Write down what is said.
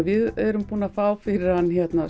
við erum búin að fá fyrir hann